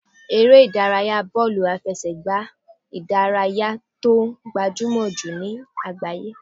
Eré ìdárayá bọ́ọ̀lù àfẹsẹ̀gbá ìdárayá tó gbajúmọ̀ jù ní àgbáyé.